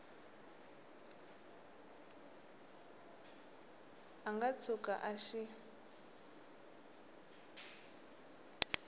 a nga tshuka a xi